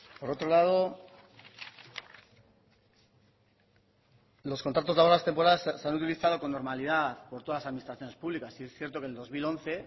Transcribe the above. por otro lado los contratos laborales temporales se han utilizado con normalidad por todas las administraciones públicas y sí es cierto que en el dos mil once